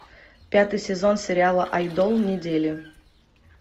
пятый сезон сериала айдол недели